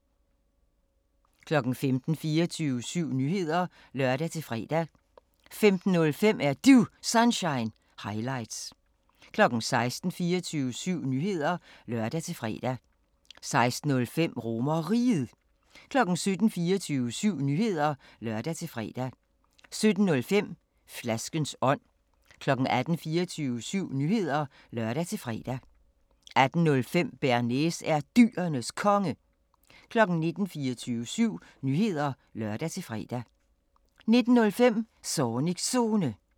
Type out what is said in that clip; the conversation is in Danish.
15:00: 24syv Nyheder (lør-fre) 15:05: Er Du Sunshine – highlights 16:00: 24syv Nyheder (lør-fre) 16:05: RomerRiget 17:00: 24syv Nyheder (lør-fre) 17:05: Flaskens ånd 18:00: 24syv Nyheder (lør-fre) 18:05: Bearnaise er Dyrenes Konge 19:00: 24syv Nyheder (lør-fre) 19:05: Zornigs Zone